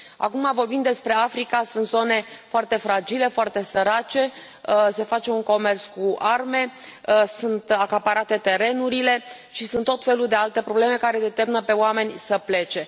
Acum vorbim despre Africa sunt zone foarte fragile, foarte sărace, se face comerț cu arme, sunt acaparate terenurile și sunt tot felul de alte probleme care îi îndeamnă pe oameni să plece.